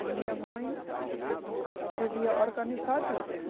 E minha mãe devia organizar tudo, né?